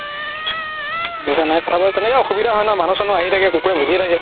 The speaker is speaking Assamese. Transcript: বুজা নাই কথাবোৰ তেনেকুৱা অসুবিধা হয় ন মানুহ চানুহ আহি থাকে কুকুৰে ভুকি থাকে